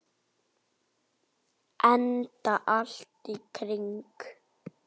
Enda allt í kring.